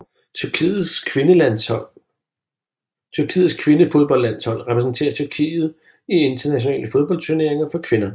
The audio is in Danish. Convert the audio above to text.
Tyrkiets kvindefodboldlandshold repræsenterer Tyrkiet i internationale fodboldturneringer for kvinder